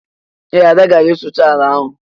Ee, Ada gara ịsụcha ala ahụ